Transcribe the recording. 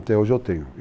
Até hoje eu tenho.